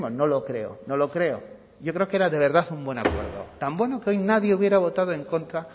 no lo creo no lo creo yo creo que era de verdad un buen acuerdo tan bueno que hoy nadie hubiera votado en contra